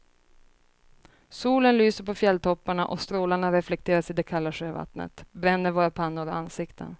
Solen lyser på fjälltopparna och strålarna reflekteras i det kalla sjövattnet, bränner våra pannor och ansikten.